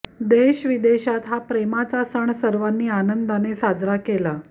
देश विदेशात हा प्रेमाचा सण सर्वानी आनंदाने साजरा केला